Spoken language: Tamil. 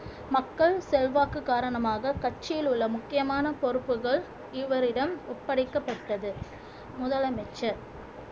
மக்கள் செல்வாக்கு காரணமாக கட்சியில் உள்ள முக்கியமான பொறுப்புகள் இவரிடம் ஒப்படைக்கப்பட்டது முதலமைச்சர்